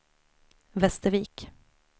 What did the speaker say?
Västervik